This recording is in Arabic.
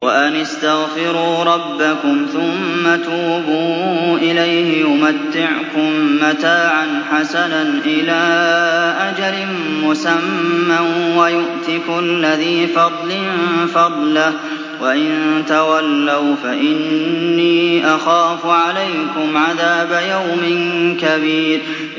وَأَنِ اسْتَغْفِرُوا رَبَّكُمْ ثُمَّ تُوبُوا إِلَيْهِ يُمَتِّعْكُم مَّتَاعًا حَسَنًا إِلَىٰ أَجَلٍ مُّسَمًّى وَيُؤْتِ كُلَّ ذِي فَضْلٍ فَضْلَهُ ۖ وَإِن تَوَلَّوْا فَإِنِّي أَخَافُ عَلَيْكُمْ عَذَابَ يَوْمٍ كَبِيرٍ